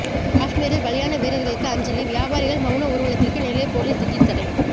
காஷ்மீரில் பலியான வீரர்களுக்கு அஞ்சலி வியாபாரிகள் மவுன ஊர்வலத்திற்கு நெல்லை போலீஸ் திடீர் தடை